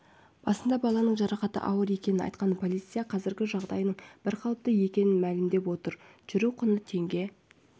басында баланың жарақаты ауыр екенін айтқан полиция қазір жағдайының бірқалыпты екенін мәлімдеп отыр жүру құны теңге